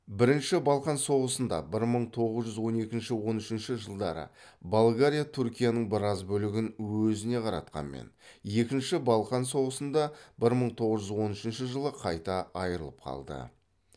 бірінші балқан соғысында болгариятүркияның біраз бөлігін өзіне қаратқанмен екінші балқан соғысында қайта айырылып қалды